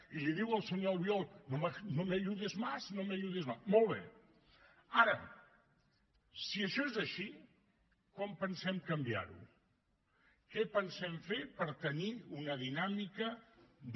i li diu al senyor albiol no me ayudes más no me ayudes más molt bé ara si això és així com pensem canviar ho què pensem fer per tenir una dinàmica de